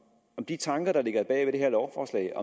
de tanker der ligger bag det her lovforslag